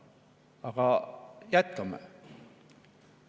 Aga jätkame.